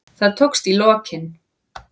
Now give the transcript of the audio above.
Það tókst í lokin.